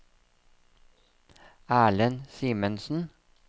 Erlend Simensen